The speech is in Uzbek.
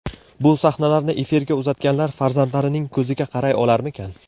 Bu sahnalarni efirga uzatganlar farzandlarining ko‘ziga qaray olarmikan?